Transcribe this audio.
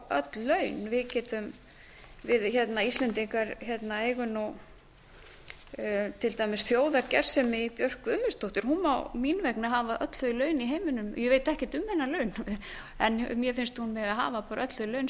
öll laun við íslendingar eigum nú til dæmis þjóðargersemi í björk guðmundsdóttur hún má mín vegna hafa öll þau laun í heiminum ég veit ekkert um hennar laun en mér finna hún mega hafa bara öll þau laun